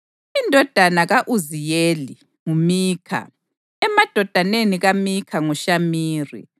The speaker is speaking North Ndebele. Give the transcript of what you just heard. Indodana ka-Uziyeli: nguMikha; emadodaneni kaMikha nguShamiri.